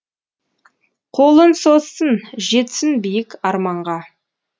қолын созсын жетсін биік арманға